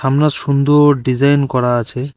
আমরা সুন্দর ডিজাইন করা আছে।